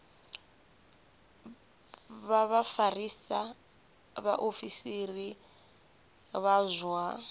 vha vhafarisa vhaofisiri vha zwa